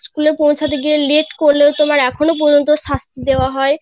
school এ পৌছাতে গিয়ে late করলে তোমার এখনো পর্যন্ত শাস্তি দেওয়া হয়